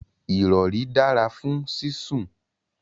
irori dara fun sisun